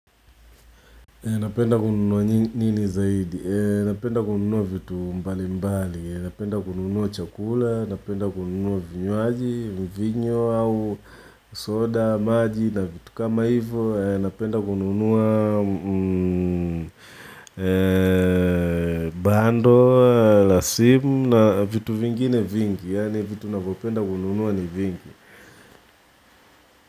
Napenda kununua nini zaidi? Napenda kununuwa vitu mbali mbali. Napenda kununuwa chakula, napenda kununuwa vinywaji, mivinyo au soda, maji na vitu kama hivyo. Napenda kununuwa bando, la simu na vitu vingine vingi. Yaani vitu navopenda kununuwa ni vingi.